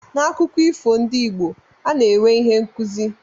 N'akụkọ ifo ndị Igbo, ana-enwe ihe nkụzi.